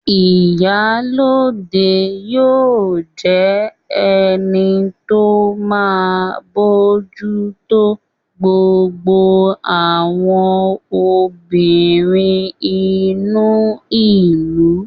Ìyálóde yóò jẹ́ ẹni tó máa bójú tó gbogbo àwọn obìnrin inú ìlú/abúlé